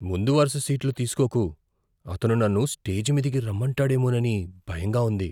ముందు వరుస సీట్లు తీసుకోకు. అతను నన్ను స్టేజి మీదికి రమ్మంటాడేమోనని భయంగా ఉంది.